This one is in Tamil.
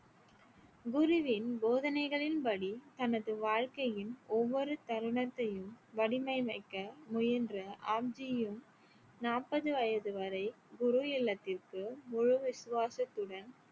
குருவின் போதனைகளின் படி தனது வாழ்க்கையின் ஒவ்வொரு தருணத்தையும் வடிவமைக்க முயன்ற ஆப்ஜி யின் நாற்பது வயது வரை குரு இல்லத்திற்கு குரு விசுவாசத்துடன்